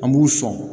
An b'u sɔn